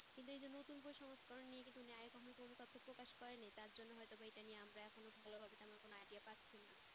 কিন্তু এইযে নতুন কোনো সংস্করণ নিয়ে কিন্তু নেয়কখনো কোন তথ্য প্রকাশ করে নি তার জন্য হয়েত আমরা এখন ভালো ভাবে কোনো idea পাচ্ছি না